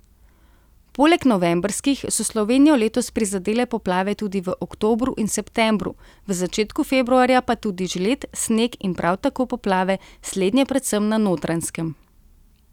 Poleg novembrskih so Slovenijo letos prizadele poplave tudi v oktobru in septembru, v začetku februarja pa tudi žled, sneg in prav tako poplave, slednje predvsem na Notranjskem.